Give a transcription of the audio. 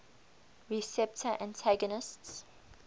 nmda receptor antagonists